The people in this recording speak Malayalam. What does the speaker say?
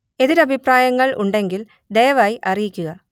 എതിരഭിപ്രായങ്ങൾ ഉണ്ടെങ്കിൽ ദയവായി അറിയിക്കുക